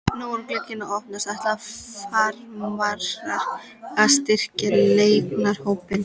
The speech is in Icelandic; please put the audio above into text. Nú er glugginn að opnast, ætla Framarar að styrkja leikmannahópinn?